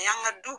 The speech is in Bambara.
A y'an ka du